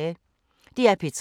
DR P3